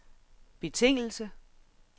betingelse